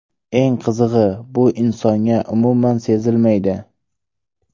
Eng qizig‘i, bu insonga umuman sezilmaydi.